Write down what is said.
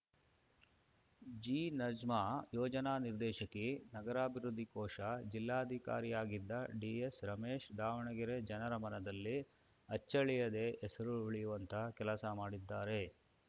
ಜಿನಜ್ಮಾ ಯೋಜನಾ ನಿರ್ದೇಶಕಿ ನಗರಾಭಿವೃದ್ಧಿ ಕೋಶ ಜಿಲ್ಲಾಧಿಕಾರಿಯಾಗಿದ್ದ ಡಿಎಸ್‌ರಮೇಶ್‌ ದಾವಣಗೆರೆ ಜನರ ಮನದಲ್ಲಿ ಅಚ್ಚಳಿಯದೇ ಹೆಸರು ಉಳಿಯುವಂತಹ ಕೆಲಸ ಮಾಡಿದ್ದಾರೆ